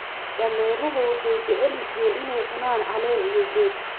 Dameeruhu waxay jecel yihiin inay cunaan caleen iyo geed.